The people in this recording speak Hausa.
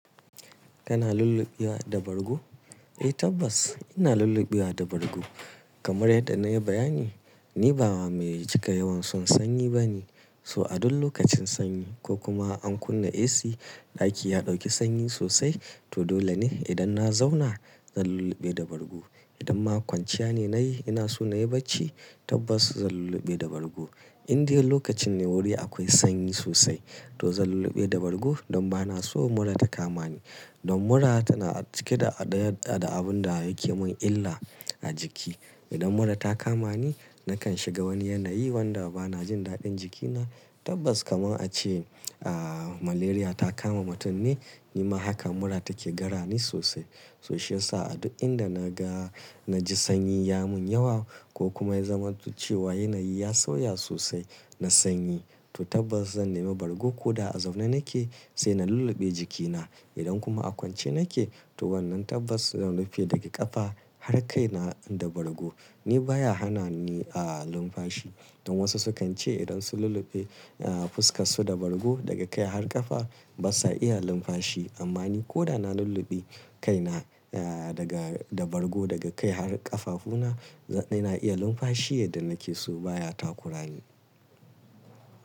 Kana lullubewa da bargo? Eh tabbas ina lullubewa da bargo. Kamar yadda na yi bayani, ni ba mai cika yawan son sanyi ba ne. So a duk lokacin sanyi ko kuma an kunna AC, ɗaki ya ɗauki sanyi sosai. To dole ne idan na zauna zan lulluɓe da bargo. Idan ma kwanciya ne na yi, ina so na yi bacci tabbas zan lulluɓe da bargo. Inde lokacin ne wuri akwai sanyi sosai to zan lulluɓe da bargo don ba na so mura ta kama ni. Don mura tana cike da abin da yake mun illa a jiki. Idan mura ta kama ni nakan shiga wani yanayi wanda ba na jin daɗin jikina. Tabbas kamar a ce ah malaria ta kama mutum ne, nima haka mura take gara ni sosai. To shiyasa a duk inda na ga, na ji sanyi ya mun yawa ko kuma ya zamanto cewa yanayi ya sauya sosai na sanyi. To tabbas zan nema bargo ko da a zaune nake sai na lulluɓe jikina. Idan kuma a kwance nake to wannan tabbas zan rufe daga ƙafa har kai na da bargo. Ni baya hana ni ah linfashi. Don wasu sukan ce idan sun lulluɓe ah fuskar su da bargo daga kai har ƙafa ba sa iya linfashi. Amma ni ko da na lulluɓe kaina ah daga da bargo daga kai har ƙafafuna, ina iya linfashi yadda nake so baya takura ni.